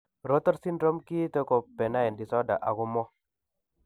Rotor syndrome kiite ko benign disorder ako mo